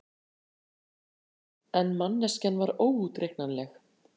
En manneskjan var óútreiknanleg.